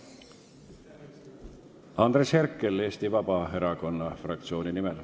Andres Herkel Eesti Vabaerakonna fraktsiooni nimel.